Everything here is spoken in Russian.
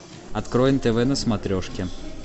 открой нтв на смотрешке